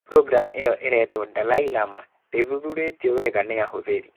Programu ĩyo ĩrĩtwo, Dalai Lama, ndĩthuthurĩtio wega nĩ ahũthĩri.